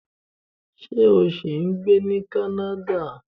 Ṣé o ṣì ń gbé ní Canada?